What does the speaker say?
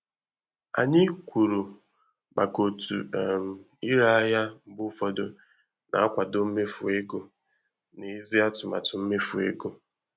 Anyị kwuru maka otu um ire ahịa mgbe ụfọdụ na-akwado imefu ego n'èzí atụmatụ mmefu ego.